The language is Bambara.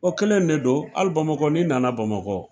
O kelen de don. Hali bamakɔ ni nana bamakɔ.